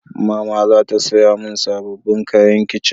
Mama za ta saya mun sabobbin kayan kitchen